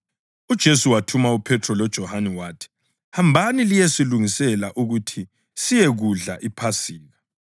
UJesu wathuma uPhethro loJohane wathi, “Hambani liyesilungisela ukuthi siyekudla iPhasika.”